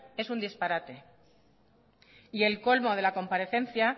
es un disparate y el colmo de la comparecencia